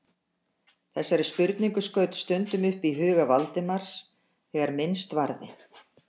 Þessari spurningu skaut stundum upp í huga Valdimars þegar minnst varði.